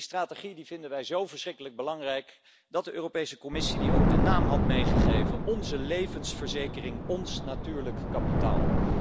Die strategie, die vinden wij zo verschrikkelijk belangrijk dat de Europese Commissie die ook de naam had gegeven Onze levensverzekering, ons natuurlijk kapitaal.